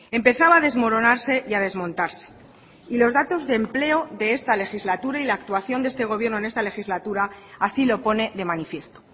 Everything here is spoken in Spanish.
empezaba a desmoronarse y a desmontarse y los datos de empleo de esta legislatura y la actuación de este gobierno en esta legislatura así lo pone de manifiesto